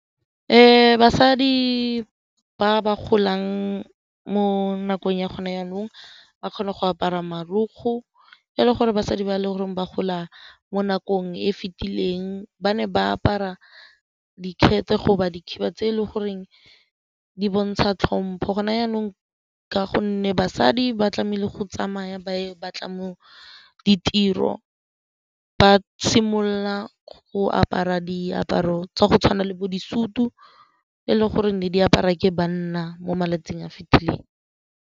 Basadi ba ba golang mo nakong ya gone jaanong ba kgone go apara marokgwe le gore basadi ba e le goreng ba gola mo nakong e fitileng ba ne ba apara dikete dikhiba tse e le goreng di bontsha tlhompo. Go na jaanong ka gonne basadi ba tlamehile go tsamaya ba e batla mo ditiro ba simolola go apara diaparo tsa go tshwana le bo disutu e leng gore ne di apara ke banna mo malatsing a fitileng.